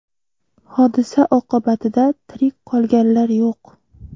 Hodisa oqibatida tirik qolganlar yo‘q.